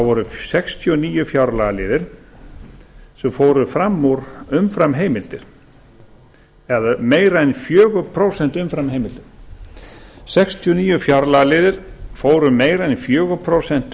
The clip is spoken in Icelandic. voru sextíu og níu fjárlagaliðir sem fóru fram úr umframheimildir eða meira en fjögur prósent umframheimildir sextíu og níu fjárlagaliðir fóru meira en í fjögur prósent umfram